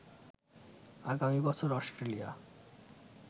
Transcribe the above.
আগামী বছর অস্ট্রেলিয়া